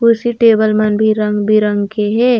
कुर्सी टेबल मन भी रंग-बिरंग के हे।